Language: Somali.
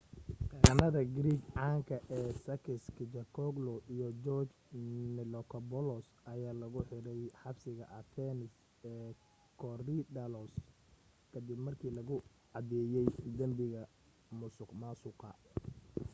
qareennada greek caanka ee sakis kechagioglou iyo george nikolakopoulos ayaa lagu xiray xabsiga athens ee korydallus ka dib markii lagu cadeeyey dambiga musuqmaasuqa